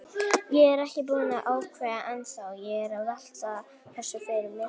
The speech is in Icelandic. Ég er ekkert búinn að ákveða ennþá, ég er að velta þessu fyrir mér.